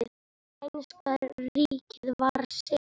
Spænska ríkið var sigrað.